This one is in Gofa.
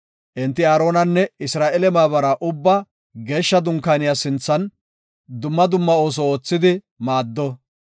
Enti Aaronanne Isra7eele maabara ubbaa Geeshsha Dunkaaniya sinthan dumma dumma ooso oothidi maaddo.